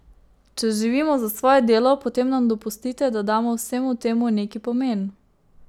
Če živimo za svoje delo, potem nam dopustite, da damo vsemu temu neki pomen.